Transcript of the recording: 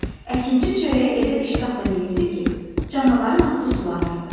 Əkinçi çörəyi elə iştahla yeyirdi ki, canavarın ağzı sulanırdı.